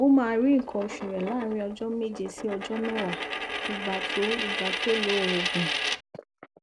ó máa rí nǹkan oṣù rẹ láàárín ọjọ méje sí ọjọ mẹwàá ìgbà tó ìgbà tó lo òògùn